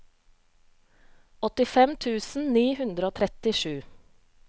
åttifem tusen ni hundre og trettisju